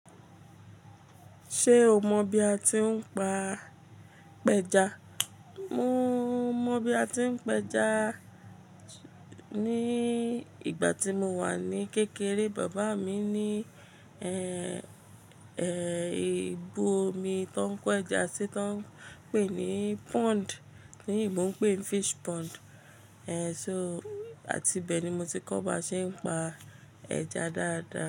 Ṣé o mọ bi a ti ń pa pẹja? Mo mọ bi a ti ń pẹja, ní ìgbà tí mo wà ní kékeré bàbá mi ní, ẹ, ẹ, ibú omi tó ń kọ ẹja sí tó ń pè ní pond. Ti eyinbò ń pè é fish pond. Ẹ, so àti bẹ́ẹ̀ ni mo ti kọ́ bá ṣe ń pa ẹja dáadáa.